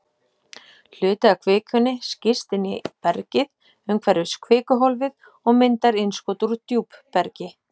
Hluti af kvikunni skýst inn í bergið umhverfis kvikuhólfið og myndar innskot úr djúpbergi.